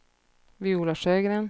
Viola Sjögren